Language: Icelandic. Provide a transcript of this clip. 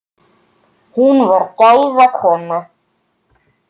Hún var gæða kona.